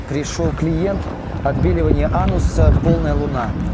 пришёл клиент отбеливание ануса полная луна